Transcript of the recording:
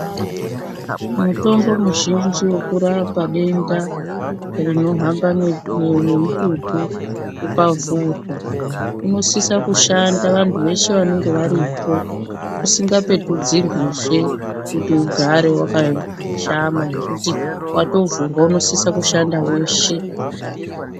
Mutombo muzhinji yokurapa denda rinohamba nemututu ukavhurwa unosisa kushanda vantu veshe vanonga varipo usinga petudzirwizve, kuti ugare vakashama ngekuti vatovhurwa unosisa kushanda veshe.